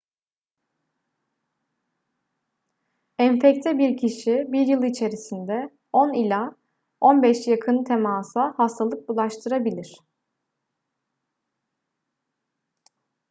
enfekte bir kişi 1 yıl içerisinde 10 ila 15 yakın temasa hastalık bulaştırabilir